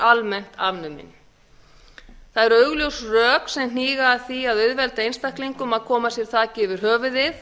almennt afnumin það eru augljós rök sem hníga að því að auðvelda einstaklingum að koma sér þaki yfir höfuðið